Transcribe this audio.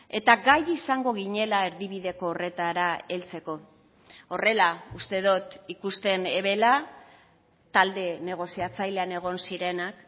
eta gai izango ginela erdibideko horretara heltzeko horrela uste dut ikusten ebela talde negoziatzailean egon zirenak